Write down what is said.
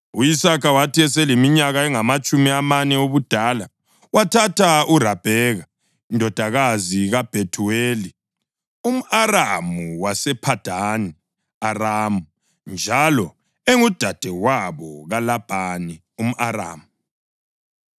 u-Isaka wathi eseleminyaka engamatshumi amane obudala wathatha uRabheka indodakazi kaBhethuweli umʼAramu wasePhadani Aramu njalo engudadewabo kaLabhani umʼAramu.